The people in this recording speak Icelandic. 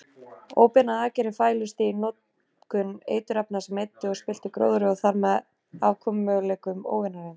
Óbeinar aðgerðir fælust í notkun eiturefna sem eyddu og spilltu gróðri og þarmeð afkomumöguleikum óvinarins.